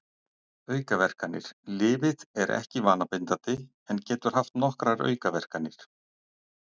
Aukaverkanir Lyfið er ekki vanabindandi en getur haft nokkrar aukaverkanir.